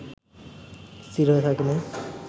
স্থির হয়ে থাকেনি